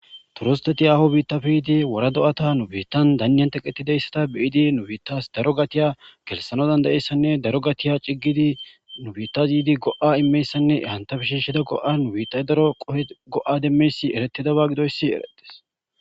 Turisteti haaho biittappe yiidi wora do7ata nu biittan danniyan tokettidayssata be7idi nubiitas daro gatiya gelssanaas danda7izayssanne daro gatiya ciggidi nubiittas gatiya ciggidi nu biittas go7a immiyayssanne entape shiishido qopan biittay daro go7a demmoyssi erettidaaba gidoyssi erettees.